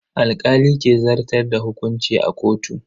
Alkali ke zartar da hukunci a kotu.